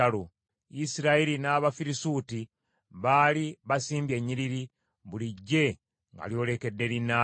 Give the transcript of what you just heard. Isirayiri n’Abafirisuuti baali basimbye ennyiriri, buli ggye nga lyolekedde linnaalyo.